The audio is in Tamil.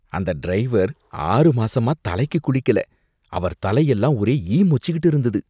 அந்த டிரைவர் ஆறு மாசமா தலைக்கு குளிக்கல, அவர் தலையெல்லாம் ஒரே ஈ மொச்சிக்கிட்டு இருந்துது.